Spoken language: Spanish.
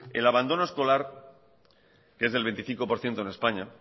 el abandono escolar que es del veinticinco por ciento en españa